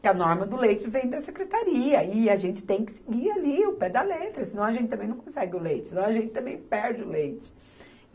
Que a norma do leite vem da secretaria e a gente tem que seguir ali o pé da letra, senão a gente também não consegue o leite, senão a gente também perde o leite.